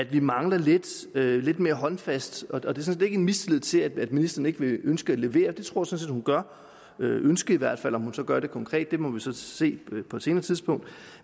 vi mangler lidt lidt mere håndfast det sådan set ikke en mistillid til at ministeren ikke ønsker at levere det tror set hun gør ønsker i hvert fald om hun så gør det konkret må vi så se på et senere tidspunkt